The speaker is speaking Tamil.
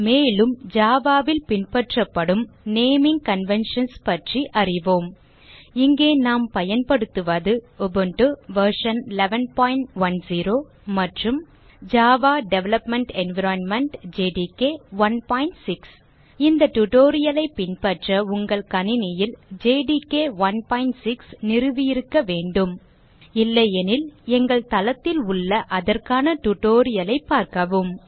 மேலும் java ல் பின்பற்றப்படும் நேமிங் கன்வென்ஷன்ஸ் பற்றி அறிவோம் இங்கே நாம் பயன்படுத்துவது உபுண்டு வெர்ஷன் 1110 மற்றும் ஜாவா டெவலப்மெண்ட் என்வைரன்மென்ட் ஜேடிகே 16 இந்த tutorial ஐ பின்பற்ற உங்கள் கணினியில் ஜேடிகே 16 நிறுவியிருக்க வேண்டும் இல்லையெனில் எங்கள் தளத்தில் உள்ள அதற்கான tutorial ஐ பார்க்கவும்